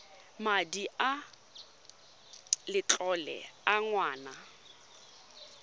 madi a letlole a ngwana